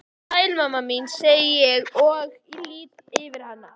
Sæl mamma mín, segi ég og lýt yfir hana.